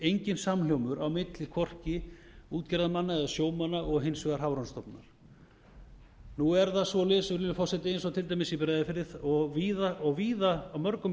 enginn samhljómur á milli hvorki útgerðarmanna eða sjómanna og hins vegar hafrannsóknastofnunar nú er það svoleiðis virðulegi forseti eins og til dæmis í breiðafirði og víða á mörgum